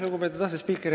Lugupeetud asespiiker!